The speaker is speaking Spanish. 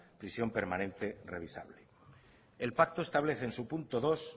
prisión permanente revisable el pacto establece en su punto dos